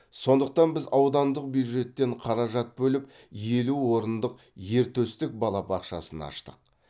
сондықтан біз аудандық бюджеттен қаражат бөліп елу орындық ертөстік балабақшасын аштық